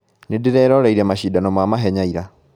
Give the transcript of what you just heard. Nĩndĩreroreire macindano ma mahenya ira